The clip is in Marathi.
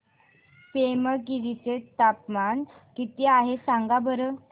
पेमगिरी चे तापमान किती आहे सांगा बरं